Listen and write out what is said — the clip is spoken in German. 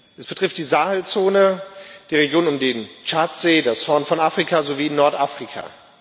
Es betrifft die Sahelzone, die Region um den Tschadsee, das Horn von Afrika sowie Nordafrika.